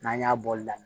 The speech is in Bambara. N'an y'a bɔli daminɛ